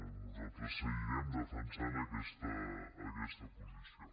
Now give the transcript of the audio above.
nosaltres seguirem defensant aquesta posició